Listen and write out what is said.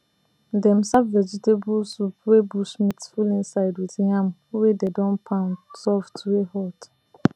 dem serve vegetable soup wey bush meat full inside with yam wey dey don pound soft wey hot